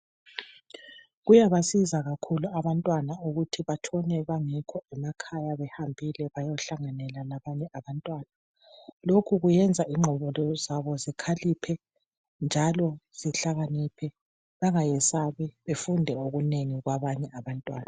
Kuyabasiza kakhulu abantwana ukuthi batshone bengekho emakhaya behambile bayahlangana labanye abantwana lokhu kuyenza ingqondo zabo zikhaliphe njalo zihlakaniphe bengayesabi befunde okunengi kwabanye abantwana.